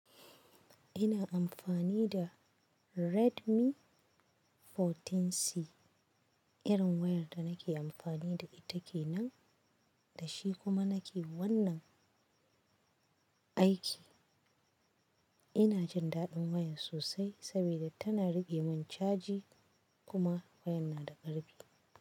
Ina amfani da Redmi 14C. Irin wayar da nake amfani da ita kenan da shi kuma nake wannan aiki. Ina jin daɗin wayar sosai sabida tana riƙe min caji kuma wayar na da ƙarfi.